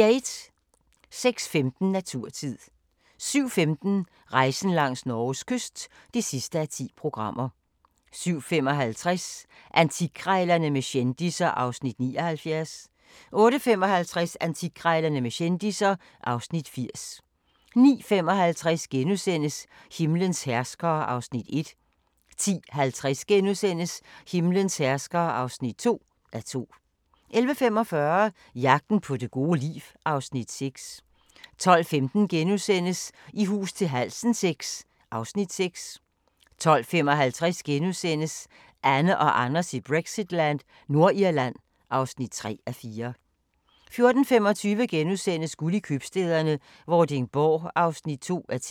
06:15: Naturtid 07:15: Rejsen langs Norges kyst (10:10) 07:55: Antikkrejlerne med kendisser (Afs. 79) 08:55: Antikkrejlerne med kendisser (Afs. 80) 09:55: Himlens herskere (1:2)* 10:50: Himlens herskere (2:2)* 11:45: Jagten på det gode liv (Afs. 6) 12:15: I hus til halsen VI (Afs. 6)* 12:55: Anne og Anders i Brexitland: Nordirland (3:4)* 14:25: Guld i Købstæderne - Vordingborg (2:10)*